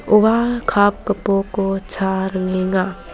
ua kap gipoko cha ringenga.